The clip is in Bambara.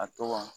A tɔgɔ